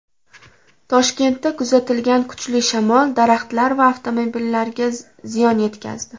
Toshkentda kuzatilgan kuchli shamol daraxtlar va avtomobillarga ziyon yetkazdi .